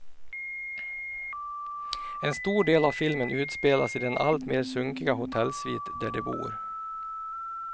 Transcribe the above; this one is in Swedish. En stor del av filmen utspelas i den allt mer sunkiga hotellsvit där de bor.